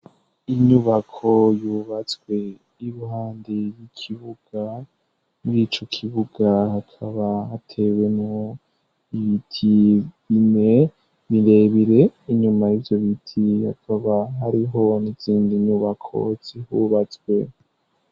Inyubako yubatswe iruhande y'ikibuga bw'ico kibuga hakaba atewe no ibitigime birebire inyuma y'ivyo biti yakaba ariho zindi nyubako zihubatswe.